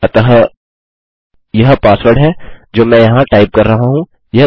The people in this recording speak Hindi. अतः यह पासवर्ड है जो मैं यहाँ टाइप कर रहा हूँ